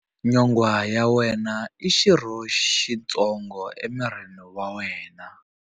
Nyonghwa ya wena i xirho xitsongo emirini wa wena.